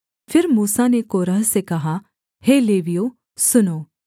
फिर मूसा ने कोरह से कहा हे लेवियों सुनो